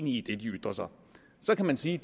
i det de ytrer så så kan man sige